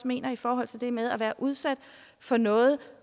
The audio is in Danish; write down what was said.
mener i forhold til det med at have været udsat for noget